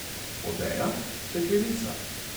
Odeja, steklenica.